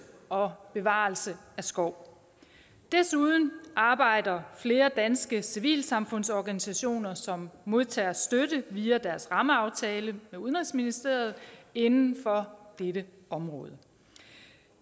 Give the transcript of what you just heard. og bevarelse af skov desuden arbejder flere danske civilsamfundsorganisationer som modtager støtte via deres rammeaftale med udenrigsministeriet inden for dette område